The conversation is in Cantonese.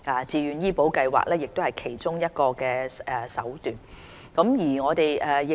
自願醫保計劃是其中一個減輕公營醫療系統長遠壓力的手段。